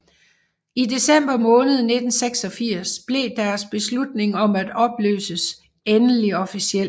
I december måned 1986 blev deres beslutning om at opløses endelig officiel